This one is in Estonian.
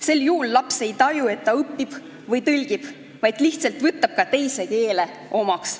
Sel juhul laps ei taju, et ta õpib või tõlgib, vaid ta lihtsalt võtab teise keele omaks.